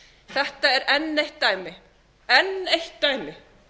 þetta er enn eitt dæmi enn eitt dæmi